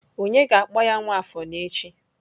Onye ga-akpọ ya Nwafor n'echi.